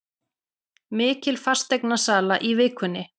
Mikil fasteignasala í vikunni